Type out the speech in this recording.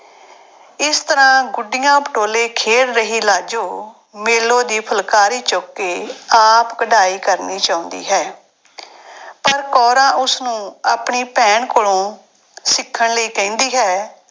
ਇਸ ਤਰ੍ਹਾਂ ਗੁੱਡੀਆਂ ਪਟੋਲੇ ਖੇਡ ਰਹੀ ਲਾਜੋ ਮੇਲੋ ਦੀ ਫੁਲਕਾਰੀ ਚੁੱਕ ਕੇ ਆਪ ਕਢਾਈ ਕਰਨੀ ਚਾਹੁੰਦੀ ਹੈ ਪਰ ਕੌਰਾਂ ਉਸਨੂੰ ਆਪਣੀ ਭੈਣ ਕੋਲੋਂ ਸਿੱਖਣ ਲਈ ਕਹਿੰਦੀ ਹੈ।